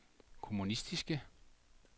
kommunistiske